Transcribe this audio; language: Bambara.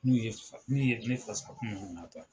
N'u ye ,n'u ye ne fasakun na taa.